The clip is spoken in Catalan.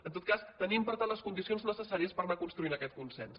en tot cas tenim per tant les condicions necessàries per anar construint aquest consens